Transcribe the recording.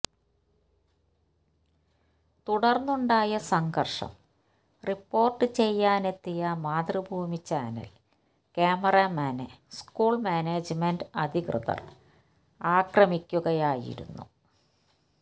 തുടർന്നുണ്ടായ സങ്കർഷം റിപ്പോർട്ട് ചെയ്യാനെത്തിയ മാതൃഭൂമി ചാനൽ ക്യാമറമാനെ സ്കൂൾ മാനേജ്മന്റ് അധികൃതർ ആക്രമിക്കുകയായിരുന്നു